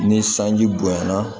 Ni sanji bonyayana